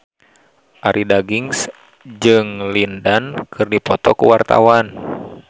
Arie Daginks jeung Lin Dan keur dipoto ku wartawan